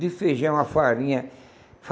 De feijão a farinha.